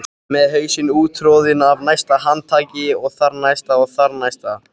Með hausinn úttroðinn af næsta handtaki og þarnæsta og þar-þarnæsta.